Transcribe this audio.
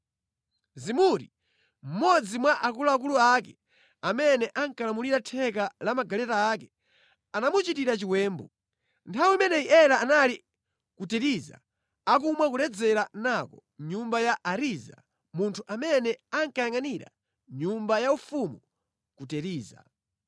Zimuri, mmodzi mwa akuluakulu ake, amene ankalamulira theka la magaleta ake, anamuchitira chiwembu. Nthawi imeneyi Ela anali ku Tiriza, akumwa koledzera nako mʼnyumba ya Ariza, munthu amene ankayangʼanira nyumba yaufumu ku Tiriza.